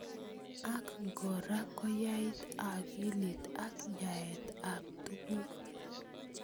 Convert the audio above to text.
Ak kora koyait akilit ak yaet ab tukuk.